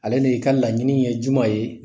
Ale de ka laɲini ye juman ye